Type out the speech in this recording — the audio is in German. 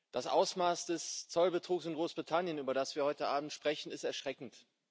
Das Ausmaß des Zollbetrugs in Großbritannien, über das wir heute Abend sprechen, ist erschreckend.